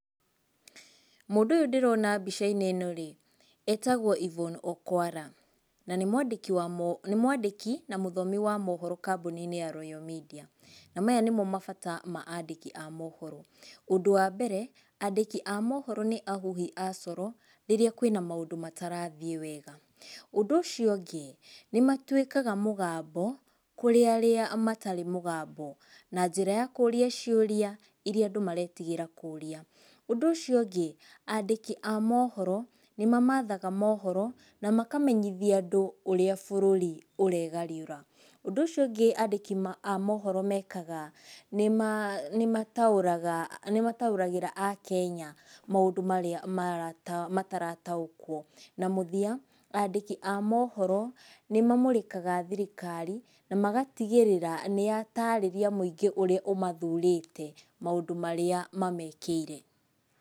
Mũndũ ũyũ ndĩrona mbica-inĩ ĩno-rĩ, etagwo Yvonne Okwara. Na nĩ mwandĩki wa , nĩ mwandĩki na mũthomi wa mohoro kambuni-inĩ ya royal media. Na maya nĩmo mabata ma andĩki a mohoro. Ũndũ wa mbere, andĩki a mohoro nĩ ahuhi a coro rĩrĩa kwĩna maũndũ matarathiĩ wega. Ũndũ ũcio ũngĩ, nĩmatuĩkaga mũgambo kũrĩ arĩa matarĩ mũgambo na njĩra ya kũũria ciũria iria andũ maretigĩra kũũria. Ũndũ ũcio ũngĩ, andĩki a mohoro nĩ mamathaga mohoro na makamenyithia andũ ũrĩa bũrũri ũregariũra. Ũndũ ũcio ũngĩ andĩki ma, a mohoro mekaga nĩ maa, nĩ mataũraga, nĩ mataũragĩra akenya maũndũ marĩa marata, matarataũkwo. Na mũthia andĩki a mohoro nĩ mamũrĩkaga thirikari, na magatigĩrĩra nĩyatarĩria mũingĩ ũrĩa ũmathurĩte maũndũ marĩa mamekĩire.